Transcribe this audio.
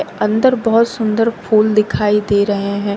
अंदर बहुत सुंदर फूल दिखाई दे रहे हैं।